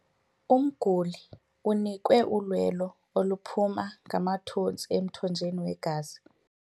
Umguli unikwe ulwelo oluphuma ngamathontsi emthonjeni wegazi.